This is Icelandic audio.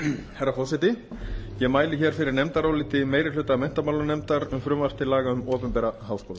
herra forseti ég mæli hér fyrir nefndaráliti meiri hluta menntamálanefndar um frumvarp til laga um opinbera háskóla